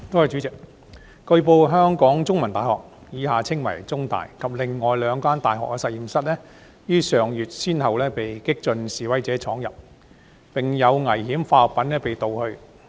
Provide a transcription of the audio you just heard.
主席，據報，香港中文大學及另兩間大學的實驗室於上月先後被激進示威者闖入，並有危險化學品被盜去。